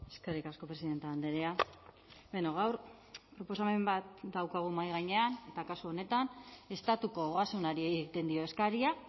eskerrik asko presidente andrea gaur proposamen bat daukagu mahai gainean eta kasu honetan estatuko ogasunari egiten dio eskaria